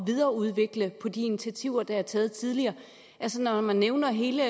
videreudvikle de initiativer der er taget tidligere altså når man nævner hele